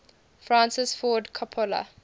francis ford coppola